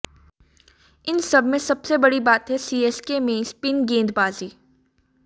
इन सबमें सबसे बड़ी बात है सीएसके में स्पिन गेंदबाजी